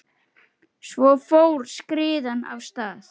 Svo fór skriðan af stað.